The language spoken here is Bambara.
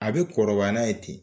A bɛ kɔrɔbaya n'a ye ten